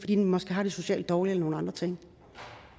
de måske har det socialt dårligt eller nogle andre ting